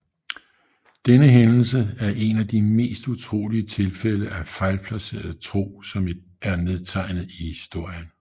Denne hændelse er en af de mest utrolige tilfælde af fejlplaceret tro som er nedtegnet i historien